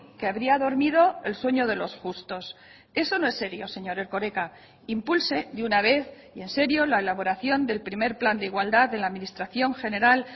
que habría dormido el sueño de los justos eso no es serio señor erkoreka impulse de una vez y en serio la elaboración del primer plan de igualdad de la administración general